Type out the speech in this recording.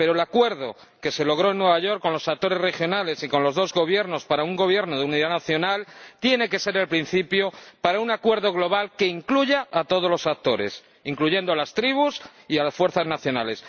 Pero el acuerdo que se logró en Nueva York con los actores regionales y con los dos gobiernos para la formación de un gobierno de unidad nacional tiene que ser el principio para lograr un acuerdo global que integre a todos los actores, incluyendo a las tribus y a las fuerzas nacionales.